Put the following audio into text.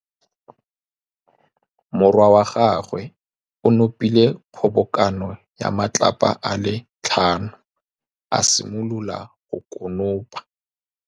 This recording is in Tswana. Morwa wa gagwe o nopile kgobokanô ya matlapa a le tlhano, a simolola go konopa.